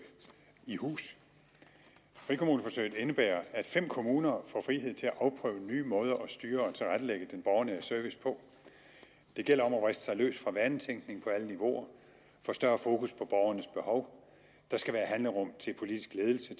i hus frikommuneforsøget indebærer at fem kommuner får frihed til at afprøve nye måder at styre og tilrettelægge den borgernære service på det gælder om at vriste sig løs af vanetænkning på alle niveauer få større fokus på borgernes behov der skal være handlerum til politisk ledelse